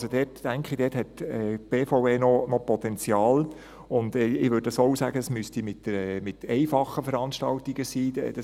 Also: Ich denke, dort hat die BVE noch Potenzial, und ich würde auch sagen, dass dies mit einfachen Veranstaltungen geschehen müsste;